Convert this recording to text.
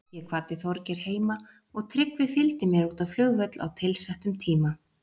Ég kvaddi Þorgeir heima og Tryggvi fylgdi mér út á flugvöll á tilsettum tíma.